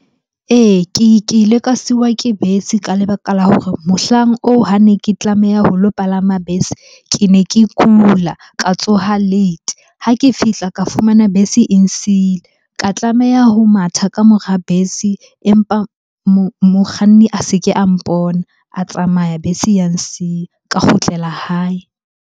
Ee, ke ile ka siwa ke bese ka lebaka la hore mohlang oo ha ne ke tlameha ho lo palama bese. Ke ne ke kula, ka tsoha late. Ha ke fihla ka fumana bese e nsile. Ka tlameha ho matha ka mora bese, empa mokganni a se ke a mpona. A tsamaya bese ya nsiya, ka kgutlela hae.